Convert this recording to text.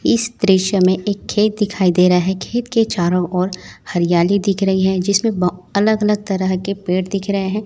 इस दृश्य में एक खेत दिखाई दे रहा है खेत के चारों ओर हरियाली दिख रही है जिसमें अलग अलग तरह के पेड़ दिख रहे हैं।